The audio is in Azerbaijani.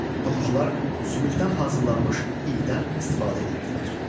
Toxucular sümükdən hazırlanmış idən istifadə edirdilər.